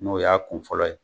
N'o y'a kun fɔlɔ ye